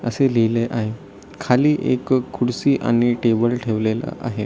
आशे लिहिले आहे खाली एक खुर्ची आणि टेबल ठेवलेला आहे.